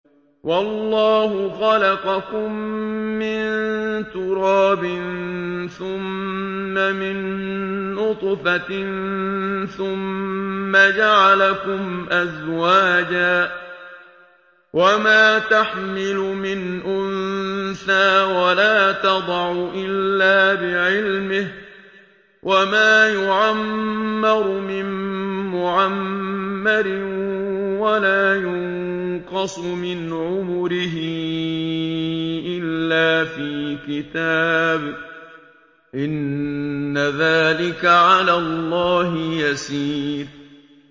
وَاللَّهُ خَلَقَكُم مِّن تُرَابٍ ثُمَّ مِن نُّطْفَةٍ ثُمَّ جَعَلَكُمْ أَزْوَاجًا ۚ وَمَا تَحْمِلُ مِنْ أُنثَىٰ وَلَا تَضَعُ إِلَّا بِعِلْمِهِ ۚ وَمَا يُعَمَّرُ مِن مُّعَمَّرٍ وَلَا يُنقَصُ مِنْ عُمُرِهِ إِلَّا فِي كِتَابٍ ۚ إِنَّ ذَٰلِكَ عَلَى اللَّهِ يَسِيرٌ